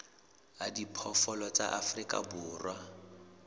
a diphoofolo tsa afrika borwa